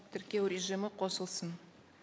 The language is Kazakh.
тіркеу режимі қосылсын